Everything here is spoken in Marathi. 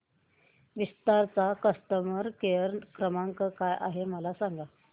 विस्तार चा कस्टमर केअर क्रमांक काय आहे मला सांगा